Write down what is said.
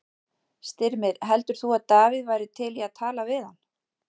Styrmir, heldur þú að Davíð væri til í að tala við hann?